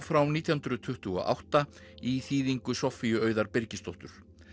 frá nítján hundruð tuttugu og átta í þýðingu Soffíu Auðar Birgisdóttur